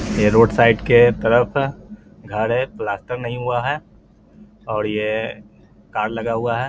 ये road side के तरफ घर है प्लास्टर नहीं हुआ है और ये कार लगा हुआ है ।.